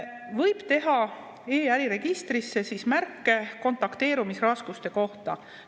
Võib teha e-äriregistrisse märke kontakteerumisraskuste kohta.